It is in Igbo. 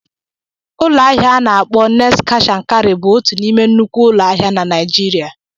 Ụlọ ahịa a na-akpọ Next Cash & Carry bụ otu n'ime nnukwu ụlọ ahịa na Nigeria.